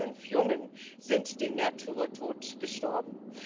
Alle fünf Jungen sind den Märtyrertod gestorben.